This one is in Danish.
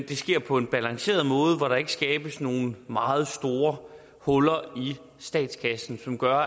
det sker på en balanceret måde hvor der ikke utilsigtet skabes nogle meget store huller i statskassen som går